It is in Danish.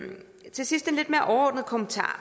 til sidst en lidt mere overordnet kommentar